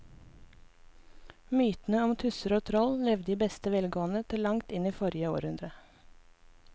Mytene om tusser og troll levde i beste velgående til langt inn i forrige århundre.